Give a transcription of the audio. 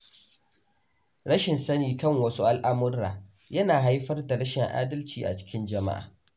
Rashin sani kan wasu al’amura yana haifar da rashin adalci a cikin jama’a.